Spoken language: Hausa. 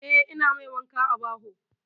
Eh, ina mai wanka a baho.